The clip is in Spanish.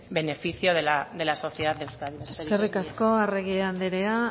beneficio de la sociedad de euskadi eskerrik asko eskerrik asko arregi andrea